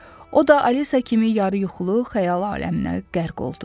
O da Alisa kimi yarı yuxulu xəyal aləminə qərq oldu.